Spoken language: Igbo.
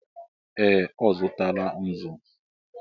Ee! Ọ zụtala nzu.